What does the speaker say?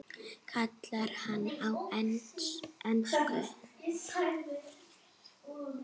kallar hann á ensku.